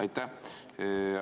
Aitäh!